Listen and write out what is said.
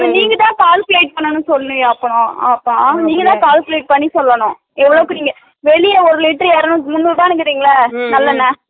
அது நீங்கதா calculate பண்ணணு சொல்லலையா ஆத்தா ஆத்தா நீங்கதா calculate பண்ணி சொல்லணும் எவ்ளோவுக்கு நீங்க வெளில ஒரு லிட்டர் இரநூரு முண்ணூறுபானு சொல்றிங்கள நல்லெண்ண